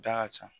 Da ka ca